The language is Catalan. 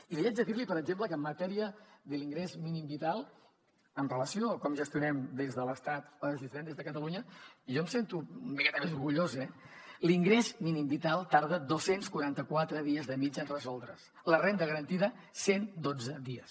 i li haig de dir per exemple que en matèria de l’ingrés mínim vital amb relació a com gestionem des de l’estat les existències de catalunya jo em sento una miqueta més orgullós eh l’ingrés mínim vital tarda dos cents i quaranta quatre dies de mitjana en resoldre’s la renda garantida cent i dotze dies